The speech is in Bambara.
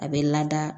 A bɛ lada